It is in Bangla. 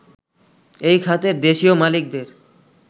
এই খাতের দেশীয় মালিকদের